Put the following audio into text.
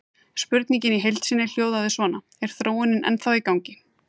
Spurningin í heild sinni hljóðaði svona: Er þróunin ennþá í gangi?